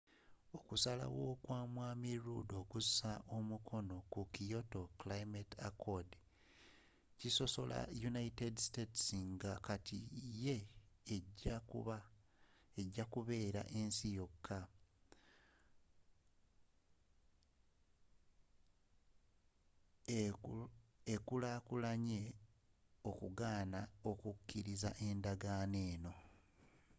okusalawo kwa mwami rudd okusa omukono ku kyoto climate accord kisosola united states nga kati yeja okubeera ensi yoka ekulakulanyi okugaana okukiriza endagaano